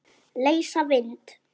Leysa vind?